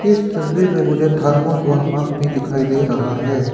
इस तस्वीर में मुझे थर्मोस और मग भी दिखाई दे रहा है।